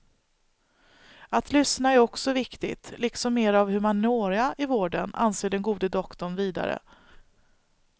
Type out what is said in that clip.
Att lyssna är också viktigt, liksom mera av humaniora i vården, anser den gode doktorn vidare.